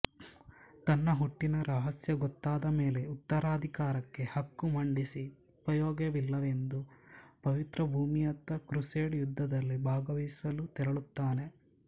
ತನ್ನ ಹುಟ್ಟಿನ ರಹಸ್ಯಗೊತ್ತಾದಮೇಲೆ ಉತ್ತರಾಧಿಕಾರಕ್ಕೆ ಹಕ್ಕು ಮಂಡಿಸಿ ಉಪಯೋಗವಿಲ್ಲವೆಂದು ಪವಿತ್ರಭೂಮಿಯತ್ತ ಕ್ರುಸೇಡ್ ಯುದ್ಧದಲ್ಲಿ ಭಾಗವಹಿಸಲು ತೆರಳುತ್ತಾನೆ